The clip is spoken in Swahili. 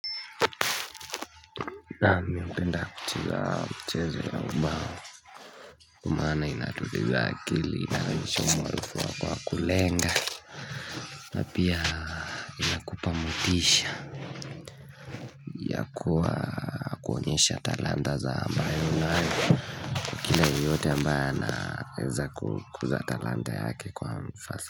Naam miupenda kucheza mchezo ya mbao kwa maana inatuliza akili inanisho mwalifuwa kwa kulenga na pia inakupamutisha ya kuwa kuonyesha talanta za ambayo unayo kila yeyote ambayo anaweza kuza talanta yake kwa mfasa.